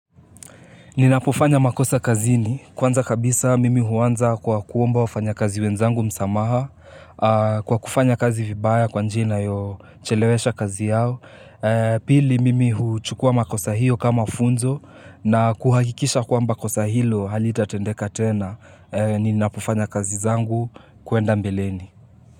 Ninapofanya makosa kazini, kwanza kabisa mimi huanza kwa kuomba wafanya kazi wenzangu msamaha, kwa kufanya kazi vibaya kwa njia inayochelewesha kazi yao, pili mimi huchukua makosa hiyo kama funzo, na kuhakikisha kwamba kosa hilo halitatendeka tena, ninapofanya kazi zangu kuenda mbeleni.